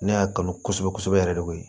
Ne y'a kanu kosɛbɛ kosɛbɛ yɛrɛ de koyi